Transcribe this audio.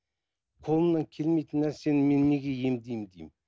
қолымнан келмейтін нәрсені мен неге емдеймін деймін